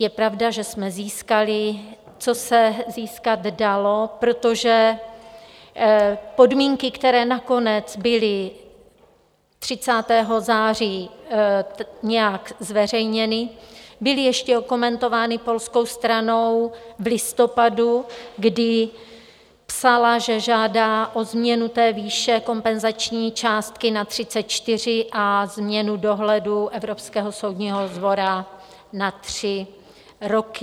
Je pravda, že jsme získali, co se získat dalo, protože podmínky, které nakonec byly 30. září nějak zveřejněny, byly ještě okomentovány polskou stranou v listopadu, kdy psala, že žádá o změnu té výše kompenzační částky na 34 a změnu dohledu Evropského soudního dvora na tři roky.